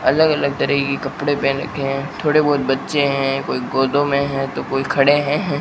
अलग अलग तरह की कपड़े पहन रखे हैं थोड़े बहुत बच्चे हैं कोई गोदों में हैं तो कोई खड़े हैं।